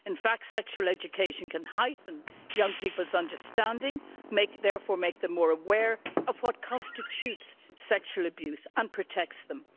In fact, sexual education can heighten young people's understanding and therefore make them more aware of what constitutes sexual abuse and protect them.